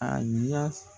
A ɲa